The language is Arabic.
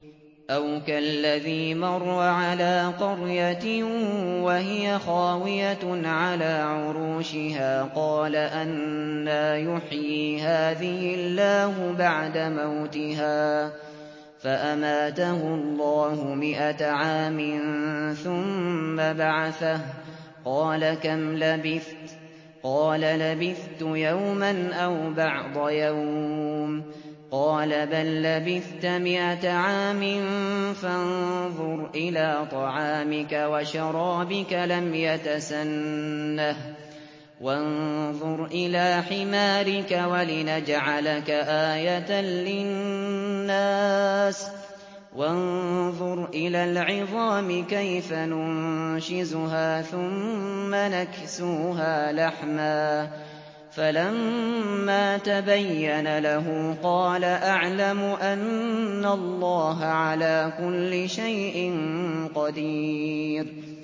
أَوْ كَالَّذِي مَرَّ عَلَىٰ قَرْيَةٍ وَهِيَ خَاوِيَةٌ عَلَىٰ عُرُوشِهَا قَالَ أَنَّىٰ يُحْيِي هَٰذِهِ اللَّهُ بَعْدَ مَوْتِهَا ۖ فَأَمَاتَهُ اللَّهُ مِائَةَ عَامٍ ثُمَّ بَعَثَهُ ۖ قَالَ كَمْ لَبِثْتَ ۖ قَالَ لَبِثْتُ يَوْمًا أَوْ بَعْضَ يَوْمٍ ۖ قَالَ بَل لَّبِثْتَ مِائَةَ عَامٍ فَانظُرْ إِلَىٰ طَعَامِكَ وَشَرَابِكَ لَمْ يَتَسَنَّهْ ۖ وَانظُرْ إِلَىٰ حِمَارِكَ وَلِنَجْعَلَكَ آيَةً لِّلنَّاسِ ۖ وَانظُرْ إِلَى الْعِظَامِ كَيْفَ نُنشِزُهَا ثُمَّ نَكْسُوهَا لَحْمًا ۚ فَلَمَّا تَبَيَّنَ لَهُ قَالَ أَعْلَمُ أَنَّ اللَّهَ عَلَىٰ كُلِّ شَيْءٍ قَدِيرٌ